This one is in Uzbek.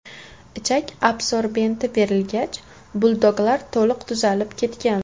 Ichak absorbenti berilgach, buldoglar to‘liq tuzalib ketgan.